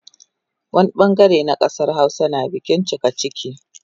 Wani bangare na kasar Hausa na bikin cikaciki